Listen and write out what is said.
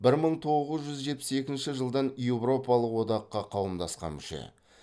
бір мың тоғыз жүз жетпіс екінші жылдан еуропалық одаққа қауымдасқан мүше